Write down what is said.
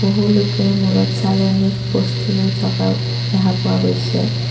বহু লোকে মূৰত চালনিত বস্তু লৈ থকাও দেখা পোৱা গৈছে।